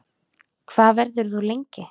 Hvað verður þú lengi?